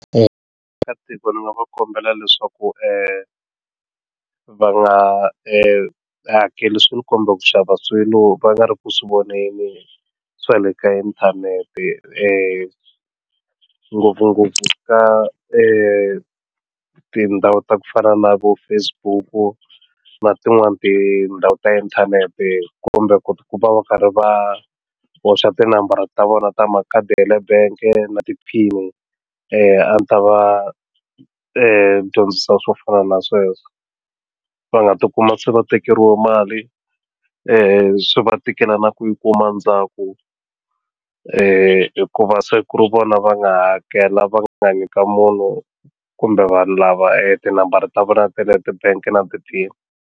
ka tiko ni nga va kombela leswaku va nga hakeli swi ku xava swilo va nga ri ku swi voneni swa le ka inthanete ngopfungopfu ka tindhawu ta ku fana na vo Facebook na tin'wani tindhawu ta inthanete kumbe ku va va karhi va boxa tinambara ta vona ta makhadi ya le bangi na ti-pin-i a ndzi ta va dyondzisa swo fana na sweswo va nga ti kuma se va tekeriwa mali swi va tikela na ku yi kuma ndzhaku ku hikuva se ku ri vona va nga hakela va nga nyika munhu kumbe vanhu lava e tinambara ta vona ta le tibangi na ti-pin-i.